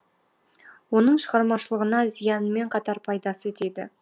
оның шығармашылығына зиянымен қатар пайдасы тиді